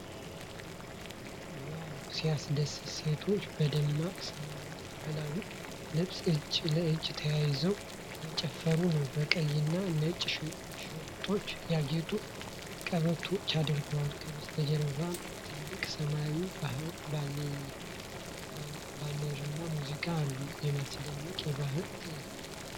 ዋው ሲያስደስት! ሴቶች በደማቅ ሰማያዊ ባህላዊ ልብስ እጅ ለእጅ ተያይዘው እየጨፈሩ ነው። በቀይና ነጭ ሽርጦች ያጌጡ ቀበቶዎች አድርገዋል። ከበስተጀርባ ትልቅ ሰማያዊ ባነርና ሙዚቀኞች አሉ። የሚያስደንቅ የባህል ትዕይንት!